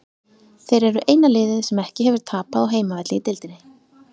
Þeir eru eina liðið sem ekki hefur tapað á heimavelli í deildinni.